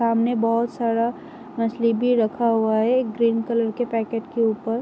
सामने बोहोत सारा मछली भी रखा हुआ है एक ग्रीन कलर के पैकेट के उपर।